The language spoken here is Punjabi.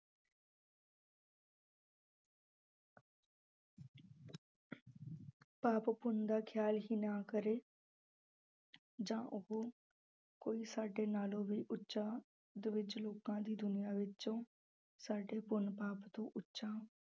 ਪਾਪ ਪੁੰਨ ਦਾ ਖਿਆਲ ਹੀ ਨਾ ਕਰੇ ਜਾਂ ਉਹ ਕੋਈ ਸਾਡੇ ਨਾਲੋਂ ਵੀ ਉੱਚਾ ਵਿੱਚ ਲੋਕਾਂ ਦੀ ਦੁਨੀਆਂ ਵਿੱਚੋਂ ਸਾਡੇ ਪੁੰਨ ਪਾਪ ਤੋਂ ਉੱਚਾ